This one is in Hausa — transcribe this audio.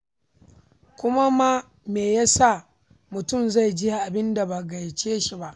Kuma ma me ya sa mutum zai je abin da ba a gayyace shi ba?